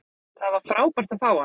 Það var frábært að fá hann.